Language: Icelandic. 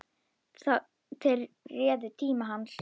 Þeir réðu tíma hans.